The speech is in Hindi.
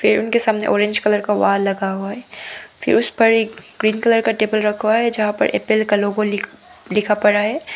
उनके सामने आरेंज कलर का वॉल लगा हुआ है फिर उस पर एक ग्रीन कलर का टेबल रखा है जहां पर एप्पल का लोगो लिखा पड़ा है।